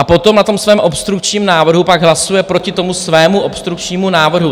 A potom na tom svém obstrukčním návrhu pak hlasuje proti tomu svému obstrukčnímu návrhu.